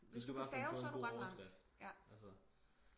hvis du bare kan finde en god overskrift altså